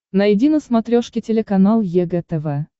найди на смотрешке телеканал егэ тв